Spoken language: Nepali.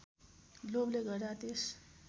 लोभले गर्दा त्यस